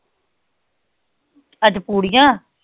ਅੱਜ ਪੂਰੀਆਂ